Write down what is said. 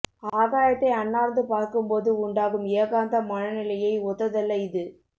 ஆகாயத்தை அண்ணார்ந்து பார்க்கும்போது உண்டாகும் ஏகாந்த மன நிலையை ஒத்ததல்ல இது